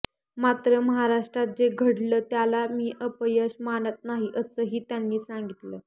मात्र महाराष्ट्रात जे घडलं त्याला मी अपयश मानत नाही असंही त्यांनी सांगितलं